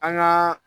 An gaa